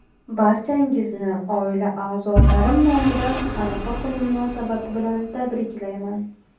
Barchangizni oila a’zolarim nomidan Arafa kuni munosabati bilan tabriklayman!